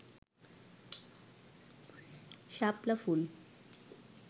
শাপলা ফুল